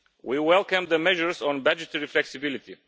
We welcome the measures on budgetary flexibility.